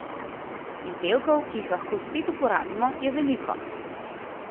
Izdelkov, ki jih lahko spet uporabimo, je veliko.